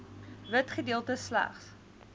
wit gedeeltes slegs